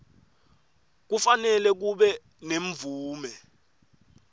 kufanele kube nemvume